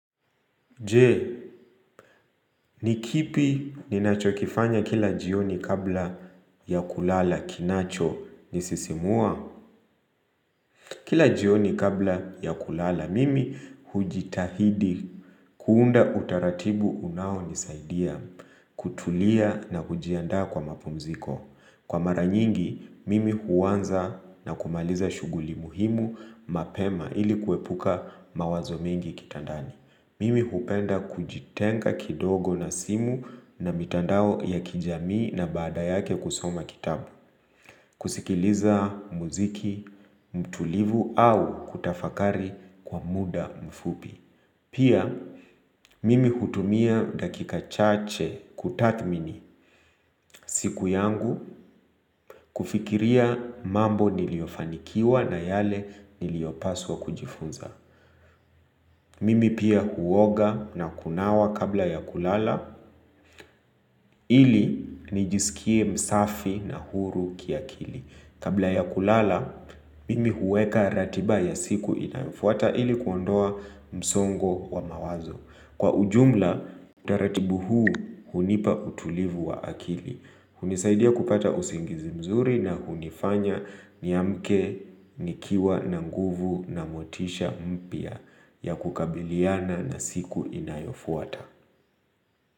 Je, ni kipi ninachokifanya kila jioni kabla ya kulala kinacho nisisimua? Kila jioni kabla ya kulala, mimi hujitahidi kuunda utaratibu unao nisaidia, kutulia na kujiandaa kwa mapumziko. Kwa maranyingi, mimi huwanza na kumaliza shuguli muhimu mapema ili kuepuka mawazo mengi kitandani. Mimi hupenda kujitenga kidogo na simu na mitandao ya kijamii na baada yake kusoma kitabu kusikiliza muziki, mtulivu au kutafakari kwa muda mfupi Pia, mimi hutumia dakika chache kutathmini siku yangu kufikiria mambo niliofanikiwa na yale niliopaswa kujifunza Mimi pia huoga na kunawa kabla ya kulala ili nijisikie msafi na huru kiakili Kabla ya kulala, mimi huweka ratiba ya siku inayofuata ili kuondoa msongo wa mawazo Kwa ujumla, utaratibu huu hunipa utulivu wa akili hunisaidia kupata usingizi mzuri na hunifanya niamke nikiwa na nguvu na motisha mpya ya kukabiliana na siku inayofuata.